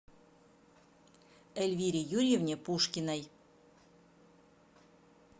эльвире юрьевне пушкиной